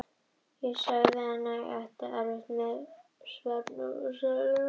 Ég sagði henni að ég ætti erfitt með svefn og sveiflaðist til og frá.